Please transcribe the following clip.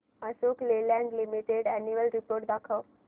Ashok Leyland limited annual report दाखव